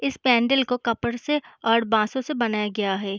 इस पैंडिल को कपड़ से और बांसों से बनाया गया है।